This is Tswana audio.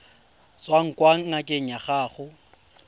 tswang kwa ngakeng ya gago